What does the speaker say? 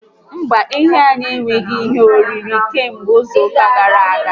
Mba, ehi anyị enweghi ihe oriri kamgbe izu ụka gara aga